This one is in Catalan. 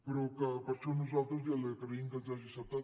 però que per això nosaltres ja li agraïm que ens ho hagi acceptat